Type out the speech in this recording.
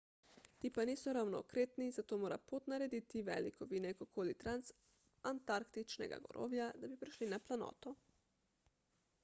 ti pa niso ravno okretni zato mora pot narediti velik ovinek okoli transantarktičnega gorovja da bi prišli na planoto